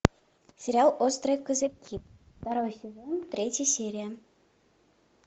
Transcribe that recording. сериал острые козырьки второй сезон третья серия